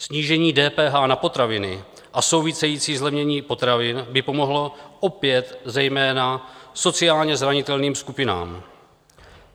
Snížení DPH na potraviny a související zlevnění potravin by pomohlo opět zejména sociálně zranitelným skupinám.